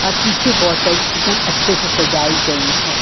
पीछे बॉटल एक दम अच्छे से सजाई गई है।